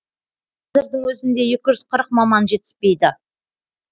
қазірдің өзінде екі жүз қырық маман жетіспейді